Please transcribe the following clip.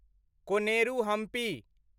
Koneru Hampi